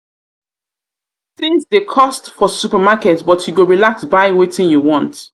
tins dey cost for supermarket but you go relax buy wetin you want.